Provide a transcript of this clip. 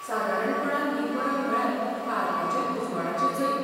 सादारणपणान, ही परब म्हळ्यार काळखाचेर उजवाडाचें जैत.